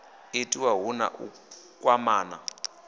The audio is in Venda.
itiwa hu na u kwamana